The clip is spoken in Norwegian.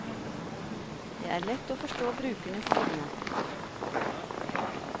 Det er lett å forstå brukernes sinne.